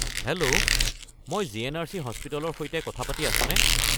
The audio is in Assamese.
হেল্ল'! মই জি.এন.আৰ.চি. হাস্পতালৰ সৈতে কথা পাতি আছোনে?